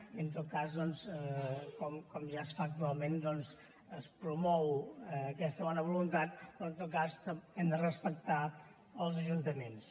i en tot cas com ja es fa actualment es promou aquesta bona voluntat però hem de respectar els ajuntaments